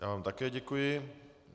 Já vám také děkuji.